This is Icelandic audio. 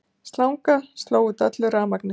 Slanga sló út öllu rafmagni